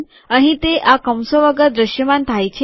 અહીં તે આ કૌંસો વગર દ્રશ્યમાન થાય છે